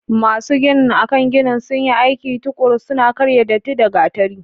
Masu ginin a kan ginin sun yi aiki tuƙuru, suna karya datti da gatari.